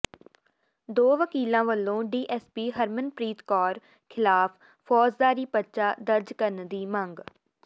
ਦੋ ਵਕੀਲਾਂ ਵੱਲੋਂ ਡੀਐਸਪੀ ਹਰਮਨਪ੍ਰੀਤ ਕੌਰ ਖਿਲਾਫ਼ ਫ਼ੌਜਦਾਰੀ ਪਰਚਾ ਦਰਜ ਕਰਨ ਦੀ ਮੰਗ